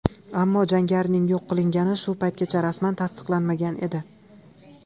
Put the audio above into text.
Ammo jangarining yo‘q qilingani shu paytgacha rasman tasdiqlanmagan edi.